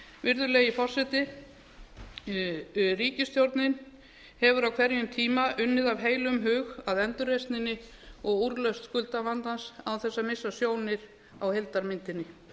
virðulegi forseti ríkisstjórnin hefur á hverjum tíma unnið af heilum hug að endurreisninni og úrlausn skuldavandans án þess að missa sjónir á heildarmyndinni